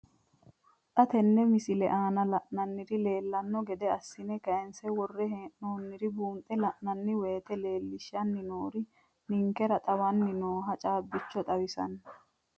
Xa tenne missile aana la'nara leellanno gede assine kayiinse worre hee'noonniri buunxe la'nanni woyiite leellishshanni noori ninkera xawanni nooha caabbicho xawissanno.